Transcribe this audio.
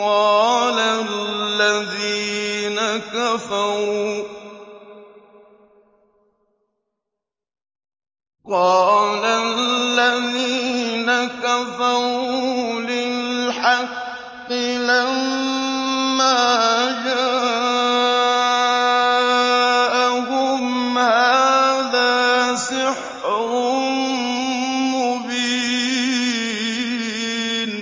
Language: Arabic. قَالَ الَّذِينَ كَفَرُوا لِلْحَقِّ لَمَّا جَاءَهُمْ هَٰذَا سِحْرٌ مُّبِينٌ